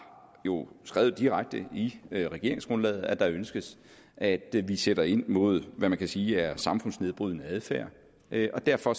jo skrevet direkte i regeringsgrundlaget at der ønskes at vi sætter ind mod hvad man kan sige er samfundsnedbrydende adfærd der er derfor